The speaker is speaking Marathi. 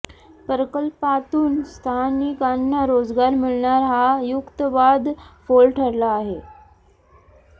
प्रकल्पातून स्थानिकांना रोजगार मिळणार हा युक्तीवाद फोल ठरला आहे